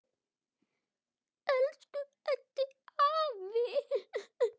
Elsku Eddi afi.